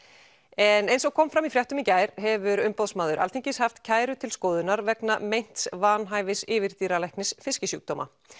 en eins og kom fram í fréttum í gær hefur Umboðsmaður Alþingis haft kæru til skoðunar vegna meints vanhæfis yfirdýralæknis fiskisjúkdóma